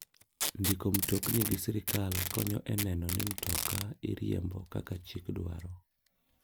Ndiko mtokni gi sirkall konyo e neno ni mtoka iriembo kaka chik dwaro.